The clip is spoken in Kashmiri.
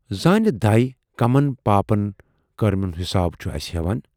زانہٕ دَے کٕمن پاپہٕ کرمن ہُند حِساب چھُ اَسہِ ہٮ۪وان۔